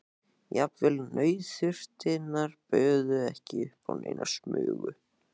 Jafnvel nauðþurftirnar buðu ekki upp á neina smugu.